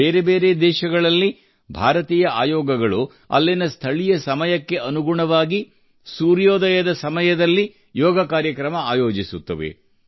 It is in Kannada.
ಬೇರೆಬೇರೆ ದೇಶಗಳಲ್ಲಿ ಭಾರತೀಯ ಭಾರತೀಯ ಆಯೋಗಗಳು ಅಲ್ಲಿನ ಸ್ಥಳೀಯ ಸಮಯಕ್ಕೆ ಅನುಗುಣವಾಗಿ ಸೂರ್ಯೋದಯದ ಸಮಯದಲ್ಲಿ ಯೋಗ ಕಾರ್ಯಕ್ರಮ ಆಯೋಜಿಸುತ್ತವೆ